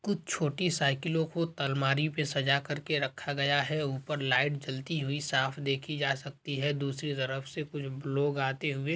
कुछ छोटी साइकिलों को तलमारी पे सजा कर के रखा गया हैं ऊपर लाइट जलती हुई साफ देखी जा सकती हैं दूसरी तरफ से कुछ लोग आते हुए--